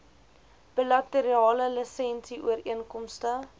bilaterale lisensie ooreenkomste